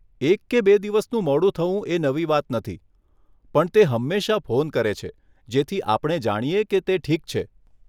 એક કે બે દિવસનું મોડું થવું એ નવી વાત નથી, પણ તે હંમેશા ફોન કરે છે જેથી આપણે જાણીએ કે તે ઠીક છે.